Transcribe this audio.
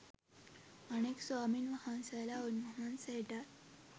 අනෙක් ස්වාමීන් වහන්සේලා උන්වහන්සේටත්